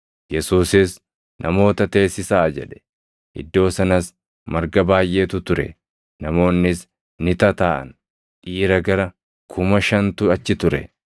Yesuusis, “Namoota teessisaa” jedhe. Iddoo sanas marga baayʼeetu ture; namoonnis ni tataaʼan; dhiira gara kuma shantu achi ture.